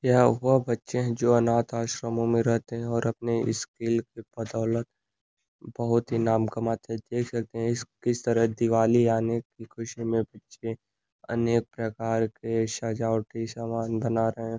यह वह बच्चे हैं जो अनाथ आश्रमों में रहते हैं और अपने स्किल के बदौलत बहुत ही नाम कमाते हैं देख सकते हैं इस किस तरह दिवाली आने की खुशी में बच्चे अनेक प्रकार के सजावटी सामान बना रहे हैं ।